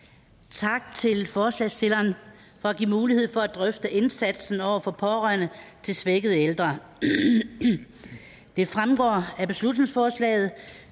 tak til forslagsstillerne for at give mulighed for at drøfte indsatsen over for pårørende til svækkede ældre det fremgår af beslutningsforslaget